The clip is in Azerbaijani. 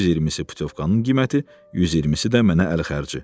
120-si putyovkanın qiyməti, 120-si də mənə əl xərci.